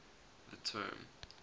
the term